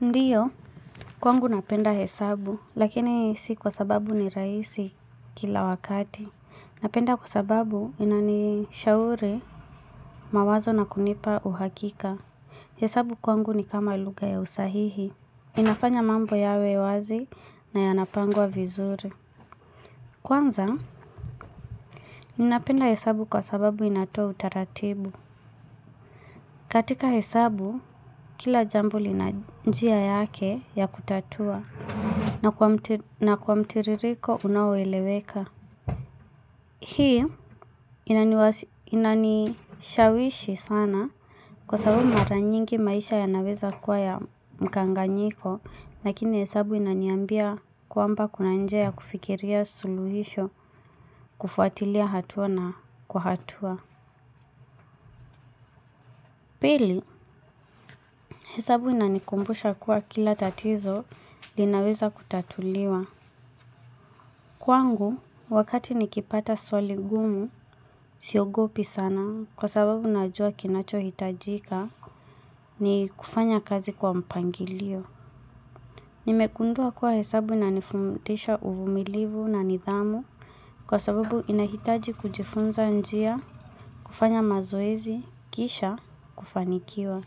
Ndiyo, kwangu napenda hesabu, lakini si kwa sababu ni rahisi kila wakati. Napenda kwa sababu inani shauri mawazo na kunipa uhakika. Hesabu kwangu ni kama lugha ya usahihi. Inafanya mambo yawe wazi na yanapangwa vizuri. Kwanza, ninapenda hesabu kwa sababu inatoa utaratibu. Katika hesabu, kila jambo lina njia yake ya kutatua. Na kwa mtiririko unaoeleweka. Hii inanishawishi sana kwa sabu maranyingi maisha yanaweza kuwa ya mkanganyiko. Lakini hesabu inaniambia kwamba kuna njia ya kufikiria suluhisho kufuatilia hatua na kuhatua. Pili hesabu inanikumbusha kuwa kila tatizo linaweza kutatuliwa. Kwangu, wakati nikipata swali gumu, siogopi sana kwa sababu najua kinacho hitajika ni kufanya kazi kwa mpangilio. Nimegundua kwa hesabu na nifundisha uvumilivu na nidhamu kwa sababu inahitaji kujifunza njia, kufanya mazoezi, kisha, kufanikiwa.